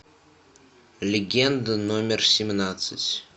легенда номер семнадцать